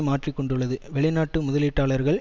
மாற்றி கொண்டுள்ளது வெளிநாட்டு முதலீட்டாளர்கள்